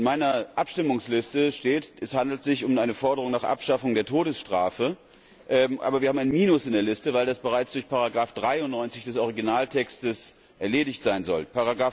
In meiner Abstimmungsliste steht, dass es sich um eine Forderung nach der Abschaffung der Todesstrafe handelt, aber wir haben ein Minus in der Liste, weil das bereits durch Ziffer 93 des Originaltexts erledigt sein sollte.